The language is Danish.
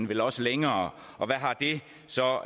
vel også længere og hvad har det så